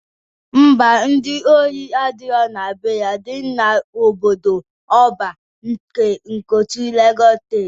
Ḿbà, ndị ori adirọ na be ya dị n'obodo ọban nke Ikotun, Legọs steeti.